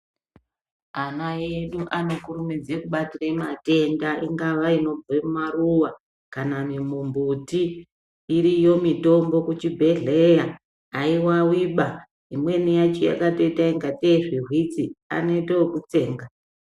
Ana edu anokurumidze kubate matenda ingava inobve mumaruwa kanamumimbuti iriyo mitombo kuchibhehleya ayiwawiba imweniyacho yakatoite ingatei zviwitsi anoite okutsenga.